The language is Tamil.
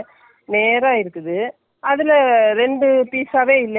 என்னக்கு அது மாதிரி தைக்கணும்னு ஆசை போட்டுட்டேன், இதையும் எடுத்து பார்த்தேன்.